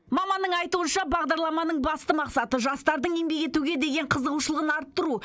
маманның айтуынша бағдарламаның басты мақсаты жастардың еңбек етуге деген қызығушылығын арттыру